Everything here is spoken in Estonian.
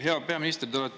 Hea peaminister!